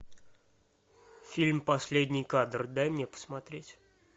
фильм последний кадр дай мне посмотреть